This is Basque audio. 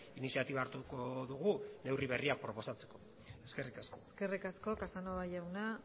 iniziatiba hartuko dugu neurri berriak proposatzeko eskerrik asko eskerrik asko casanova jauna